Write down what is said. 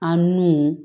An nu